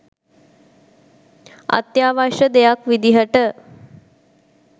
අත්‍යාවශ්‍ය දෙයක් විදියට